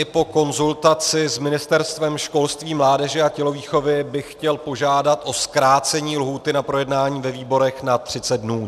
I po konzultaci s Ministerstvem, školství, mládeže a tělovýchovy bych chtěl požádat o zkrácení lhůty na projednání ve výborech na 30 dnů.